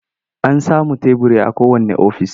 An samun teburi a kowanne ofis.